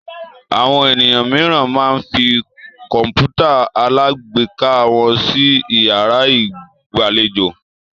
Àwọn ènìyàn mìíràn máa ń fi kọ̀ǹpútà alágbèéká wọn sí ìyàrá ìgbàlejò.